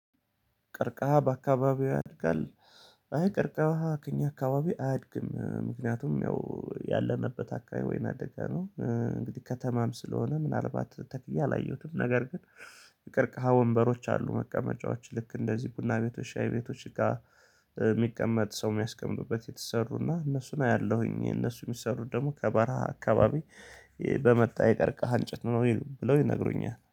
"ቀርቀሃ በአካባቢዎ ያድጋል?" አይ ቀርከሃ ከእኛ አካባቢ አያድግም። ምክንያቱም ያው ያለንበት አካባቢ ወይና ደጋ ነው። እንግዲህ ከተማም ስለሆነ ምናልባት ተክዬ አላየሁትም፤ ነገር ግን የቀርከሃ ወንበሮች አሉ መቀመጫዎች ልክ እንደዚህ ቡና ቤቶች ሻይ ቤቶች ጋር የሚቀመጥ ሰው የሚያስቀምጡበት የተሰሩና እነሱን አያለሁኝ እነሱ የሚሰሩት ደግሞ ከበራህ አካባቢ በመጣ የቀርከህ አንጨት ነው ብለው ይነግሩኛል።